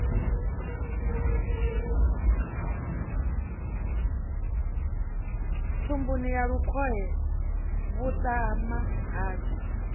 thumbuni ya lukhohe vhuṱama hashu